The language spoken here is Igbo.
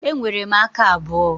E nwere m aka abụọ.